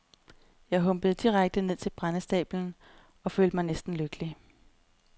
Jeg humpede direkte ned til brændestablen og følte mig næsten lykkelig.